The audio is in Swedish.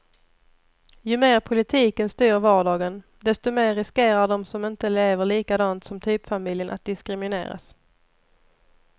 Ju mer politiken styr vardagen, desto mer riskerar de som inte lever likadant som typfamiljen att diskrimineras.